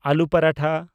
ᱟᱞᱩ ᱯᱟᱨᱟᱴᱷᱟ